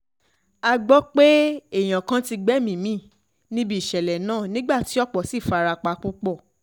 a gbọ́ pé èèyàn kan ti gbẹ̀mí mi níbi ìṣẹ̀lẹ̀ náà nígbà tí ọ̀pọ̀ sì fara pa púpọ̀